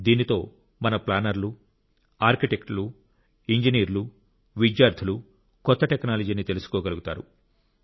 దీంతో మన ప్లానర్లు ఆర్కిటెక్టులు ఇంజనీర్లు విద్యార్థులు కొత్త టెక్నాలజీని తెలుసుకోగలుగుతారు